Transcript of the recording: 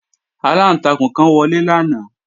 Aláǹtakùn kan wọlé lánàá